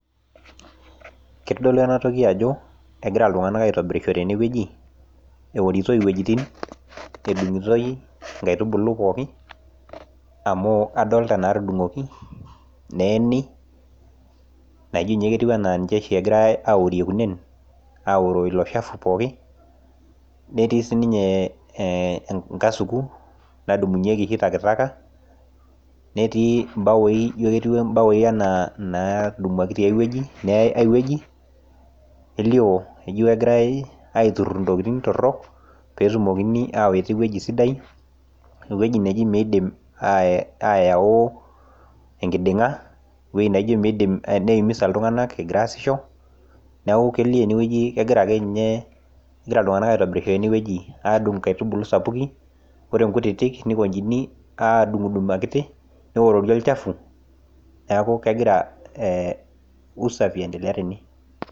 kitodolu ena toki ajo egira itung'anak aitobirisho teneweji eeworitoi iwejitin edung'itoi inkaitubulu pooki, amu adoolta inaa tudung'oki neeni naijio ninye ketiu enaaa niche oshi egirai aworie kunenen aawuoroo ilo shafu pooki, netii siininye enkasuku nadumunyieki takataka, neetii ibawuoi naijo ketiu enaa inatudumuaki tiai weji elio ajo kegirai aiturur intokitin torok, pee etumokini awuita eweji sidai, eweji naijio miidim ayau enkiding'a, eweji naijio miidim neumisa iltung'anak egira asisho, neeku kelio ene ajo kegira iltung'anak adung'isho eneweji, adung' inkaitubulu sapuki ninguaa inkutiti neworori olchafu neeku kegira usafi aendlea tene.